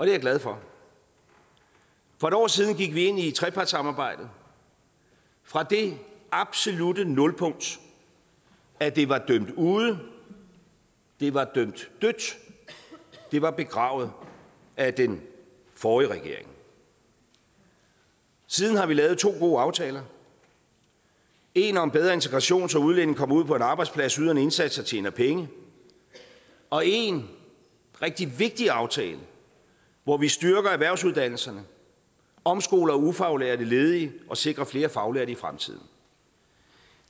jeg glad for for et år siden gik vi ind i trepartssamarbejdet fra det absolutte nulpunkt at det var dømt ude det var dømt dødt det var begravet af den forrige regering siden har vi lavet to gode aftaler en om bedre integration så udlændinge kommer ud på en arbejdsplads yder en indsats og tjener penge og en rigtig vigtig aftale hvor vi styrker erhvervsuddannelserne omskoler ufaglærte ledige og sikrer flere faglærte i fremtiden